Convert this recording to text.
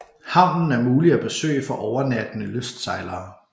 Havnen er mulig at besøge for overnattende lystsejlere